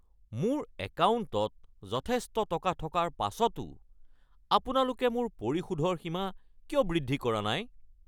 মোৰ একাউণ্টত যথেষ্ট টকা থকাৰ পাছতো আপোনালোকে মোৰ পৰিশোধৰ সীমা কিয় বৃদ্ধি কৰা নাই?